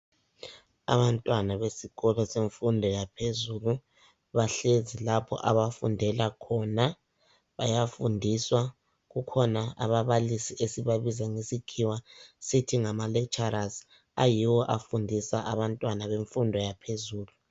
Abantwana besikolo semfundo yaphezulu bahlezi lapho abafundela khona bayafundiswa. Kukhona ababalisi esibabiza ngesikhiwa lecturers ayiwo afundisa abantwana bemfundo yaphezulu